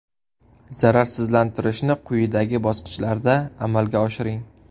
Zararsizlantirishni quyidagi bosqichlarda amalga oshiring.